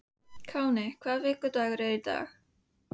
Káinn, hvaða vikudagur er í dag?